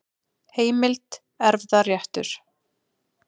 Heimild: Erfðaréttur.